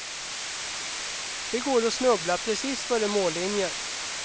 Det går att snubbla precis före mållinjen.